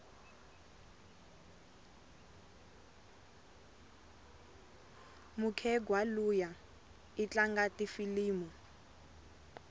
mukhegwa luya itlanga tifilimu